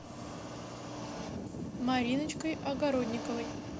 мариночкой огородниковой